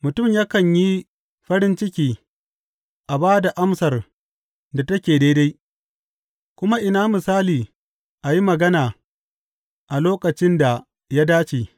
Mutum yakan yi farin ciki a ba da amsar da take daidai, kuma ina misali a yi magana a lokacin da ya dace!